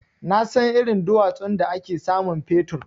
Nasan irin duwatsun da ake samun fetur.